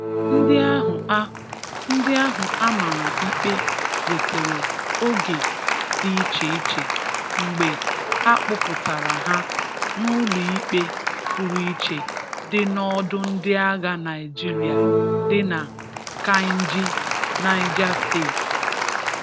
Ndị ahụ a Ndị ahụ a mara ikpe nwetere oge dị iche iche mgbe akpụpụtara ha n'ụlọikpe pụrụ iche dị n'ọdọ ndị agha Naịjirịa dị na Kaịnji, Naịja steeti.